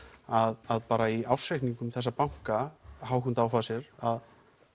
að bara í ársreikningum þessa banka Hauck og Aufhäuser að